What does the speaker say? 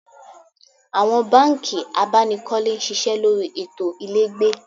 Awon banki abanikole n sise lori eto ilegbe